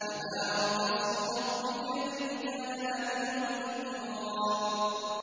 تَبَارَكَ اسْمُ رَبِّكَ ذِي الْجَلَالِ وَالْإِكْرَامِ